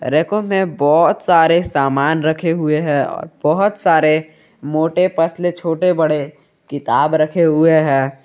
रैको मे बहोत सारे सामान रखे हुए है बहोत सारे मोटे पतले छोटे बड़े किताब रखे हुए है।